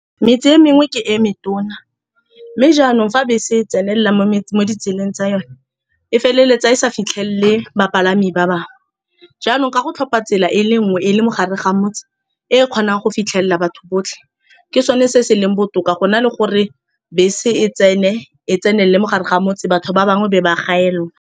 Metse e mengwe ke e metona, mme jaanong fa bese e tsenelela mo ditseleng tsa yone, e feleletsa e sa fitlhelele bapalami ba bangwe. Jaanong, ka go tlhopha tsela e le nngwe e e leng mogare ga motse, e e kgonang go fitlhelela batho botlhe, ke sone se se leng botoka go na le gore bese e tsene e tsenelele mogare ga motse, batho ba bangwe e be ba gaelelwa.